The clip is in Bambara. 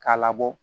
K'a labɔ